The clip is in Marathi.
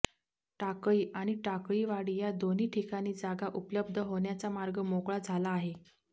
टाकळी आणि टाकळीवाडी या दोन्ही ठिकाणी जागा उपलब्ध होण्याचा मार्ग मोकळा झाला आहे